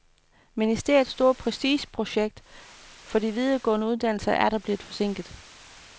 Ministeriets store prestigeprojekt for de videregående uddannelser er atter blevet forsinket.